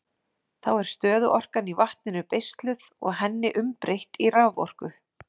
Þá er stöðuorkan í vatninu beisluð og henni umbreytt í raforku.